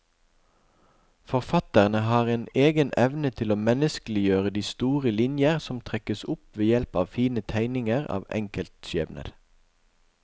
Forfatterne har en egen evne til å menneskeliggjøre de store linjer som trekkes opp ved hjelp av fine tegninger av enkeltskjebner.